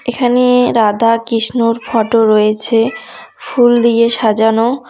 এখানে রাধাকৃষ্ণর ফটো রয়েছে ফুল দিয়ে সাজানো।